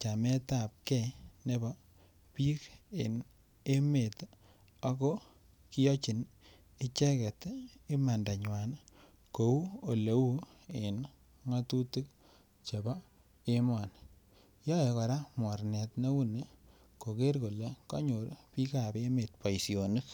chameetapgei nebo bik en emet ako kiyochin icheget imandanywa kou Ole uu en ngatutik chebo emoni yoe kora mornet neu ni koker kole konyor bikap emet boisionik